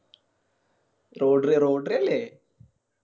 അല്ലെ